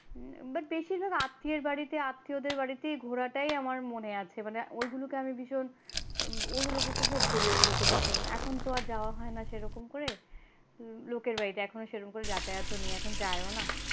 but বেশিরভাগ আত্মীয়ের বাড়িতে আত্মীয়দের বাড়িতে ঘোরা টাই আমার মনে আছে ওইগুলোকে আমি ভীষণ উপভোগ করি ওইগুলোকে ভীষণ এখন আর যাওয়া হয় না সেই রকম করে লোকের বাড়িতে এখন আর সেই রকম করে যাতায়াত ও নেই এখন আর যাইও না।